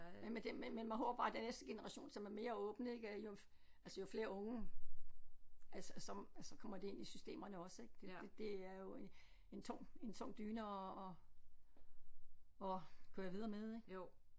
Ja men det men man håber bare den næste generation som er mere åbne ik jo altså jo flere unge altså som altså kommer det ind i systemerne også det det det er jo en en tung en tung dyne at at at køre videre med ik